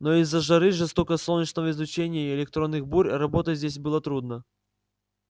но из-за жары жёсткого солнечного излучения и электронных бурь работать здесь было трудно